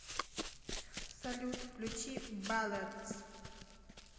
салют включи балладс